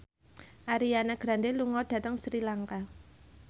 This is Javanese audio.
Ariana Grande lunga dhateng Sri Lanka